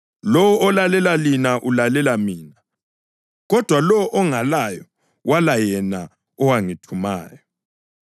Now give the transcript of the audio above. Lowo olalela lina ulalela mina; lowo olahla lina ulahla mina; kodwa lowo ongalayo wala yena owangithumayo.”